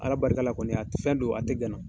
Ala barika la kɔni a tɛ fɛn do a tɛ gana.